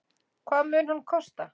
Hvað mun hann kosta?